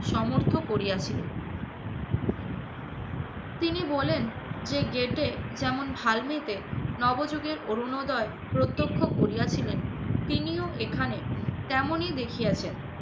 সমর্থ করিয়াছিল। তিনি বলেন, যে গেটে যেমন ভাল্মিতে নবযুগের অরুণোদয় প্রত্যক্ষ করিয়াছিলেন, তিনিও এখানে তেমনি দেখিয়াছেন।